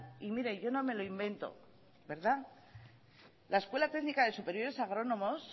y mire yo no me lo invento verdad la escuela técnica de superiores agrónomos